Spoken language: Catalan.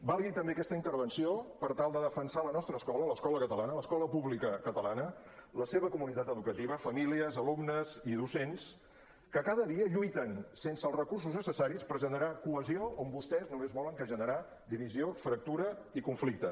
valgui també aquesta intervenció per tal de defensar la nostra escola l’escola catalana l’escola pública catalana la seva comunitat educativa famílies alumnes i docents que cada dia lluiten sense els recursos necessaris per generar cohesió on vostès només volen generar divisió fractura i conflicte